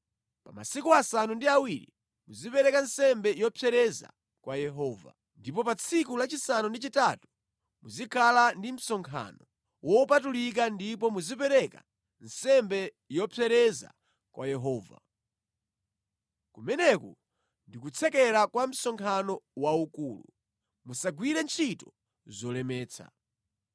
Pa masiku asanu ndi awiri muzipereka nsembe zopsereza kwa Yehova. Ndipo pa tsiku lachisanu ndi chitatu muzikhala ndi msonkhano wopatulika ndipo muzipereka nsembe yopsereza kwa Yehova. Kumeneku ndi kutsekera kwa msonkhano waukulu. Musagwire ntchito zolemetsa.